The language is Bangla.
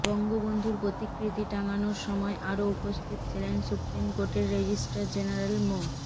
বঙ্গবন্ধুর প্রতিকৃতি টাঙানোর সময় আরও উপস্থিত ছিলেন সুপ্রিম কোর্টের রেজিস্ট্রার জেনারেল মো